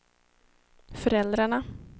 föräldrarna